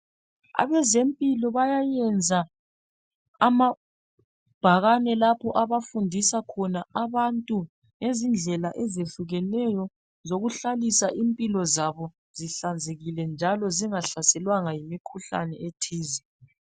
abezempilo bayayenza amabhakane lapho abafundisa khona abantu ngezindlela ezehlukeneyo zokuhlalisa impilo zabo zihlanzekile njalo zingahlaselwanga yimikhuhlane ethize